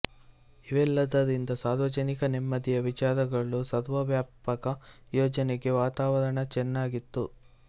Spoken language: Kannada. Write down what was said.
ಇವೆಲ್ಲದರಿಂದ ಸಾರ್ವಜನಿಕ ನೆಮ್ಮದಿಯ ವಿಚಾರದಲ್ಲಿ ಸರ್ವವ್ಯಾಪಕ ಯೋಜನೆಗೆ ವಾತಾವರಣ ಚೆನ್ನಾಗಿತ್ತು